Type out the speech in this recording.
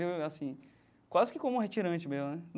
E assim quase que como retirante mesmo né.